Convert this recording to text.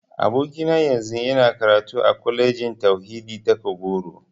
Abokina yanzu yana karatu a Kwalejin Tauhidi ta Kagoro.